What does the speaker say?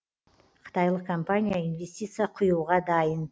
қытайлық компания инвестиция құюға дайын